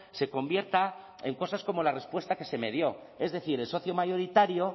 se convierta en cosas como la respuesta que se me dio es decir el socio mayoritario